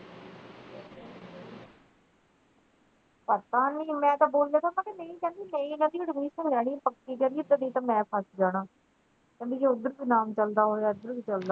ਪਤਾ ਨਹੀਂ ਮਨ ਤੇ ਬੋਲਿਆ ਵੀ ਨਹੀਂ ਕਹਿੰਦੀ ਨਹੀਂ ਮੈਂ ਇਹਦੀ admission ਲੈਣੀ ਪੱਕੀ ਨਹੀਂ ਤੇ ਮੈਂ ਫੱਸ ਜਾਣਾ ਕਹਿੰਦੀ ਜੇ ਓਧਰ ਤੇ ਨਾਮ ਚਲਦਾ ਹੋਇਆ ਏਧਰ ਵੀ ਚਲਦਾ।